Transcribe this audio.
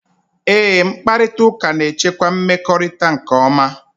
Eé, mkparịtaụka na-echekwa mmekọrịta nke ọma.